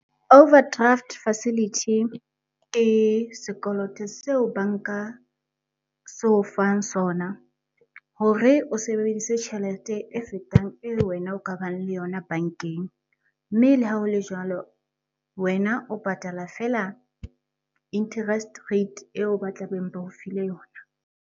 Overdraft facility, ke sekoloto seo banka se o fang sona hore o sebedise tjhelete e fetang eo wena o ka bang le yona bankeng. Mme le ha ho le jwalo, wena o patala fela interest rate eo ba tlabeng ba o file yona.